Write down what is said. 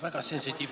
Aitäh!